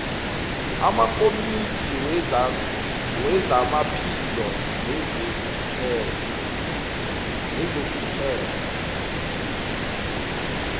amakomidi wezamaphilo nezokuphepha